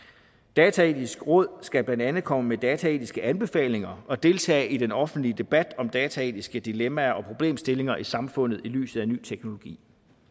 dataetiske råd skal blandt andet komme med dataetiske anbefalinger og deltage i den offentlige debat om dataetiske dilemmaer og problemstillinger i samfundet i lyset af ny teknologi